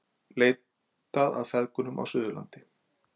Leitað að feðgum á Suðurlandi